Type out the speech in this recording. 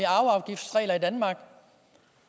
arveafgiftsregler i danmark